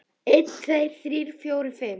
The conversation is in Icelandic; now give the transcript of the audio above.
einn. tveir. þrír. fjórir. fimm.